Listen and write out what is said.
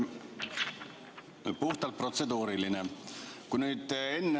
Mul on puhtalt protseduuriline küsimus.